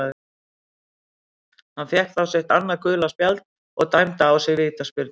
Hann fékk þá sitt annað gula spjald og dæmda á sig vítaspyrnu.